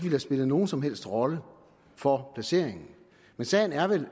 have spillet nogen som helst rolle for placeringen men sagen er vel